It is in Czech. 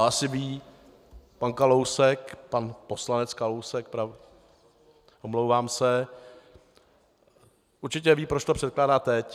A asi ví pan Kalousek, pan poslanec Kalousek, omlouvám se, určitě ví, proč to předkládá teď.